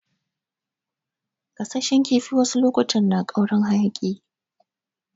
Gasashen kifi wasu lokutan na ƙaurin hayaki.